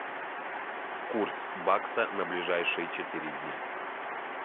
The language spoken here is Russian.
курс бакса на ближайшие четыре дня